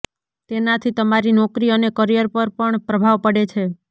તેનાથી તમારી નોકરી અને કરિયર પર પણ પ્રભાવ પડે છે